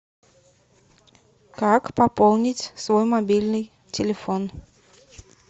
как пополнить свой мобильный телефон